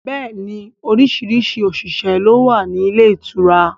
Bẹẹ ni orísìírísìí òṣìṣẹ́ ló wà ní ilé ìtura